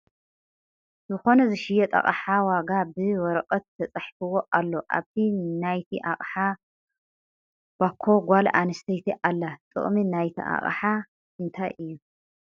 ዝኮነ ዝሽየጥ ኣቅሓ ዋጋ ብ ወረቀት ተፀሓፍዎ ኣሎ ኣብቲ ንይቲ ኣቅሓ ባኮ ጋል ኣንስተይቲ ኣላ ። ጥቅሚ ናይቲ ኣቅሓ እንታይ እዩ ?